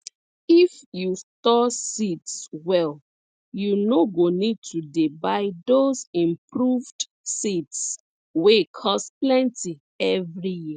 if you store seeds well you no go need to dey buy those improved seeds wey cost plenty every year